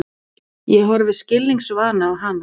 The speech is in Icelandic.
Ég horfi skilningsvana á hana.